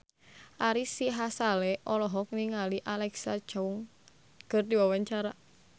Ari Sihasale olohok ningali Alexa Chung keur diwawancara